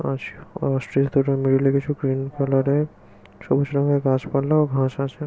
অস অসট্রিচ দুটো গ্রীন কালারের ছবির সঙ্গে গাছপালা ও ঘাস আছে।